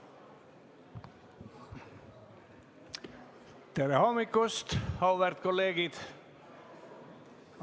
Tere hommikust, auväärt kolleegid!